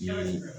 Ɲa